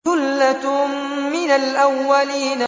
ثُلَّةٌ مِّنَ الْأَوَّلِينَ